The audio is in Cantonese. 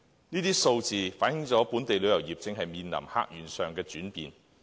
這些數字反映本地旅遊業正面臨客源上的轉變。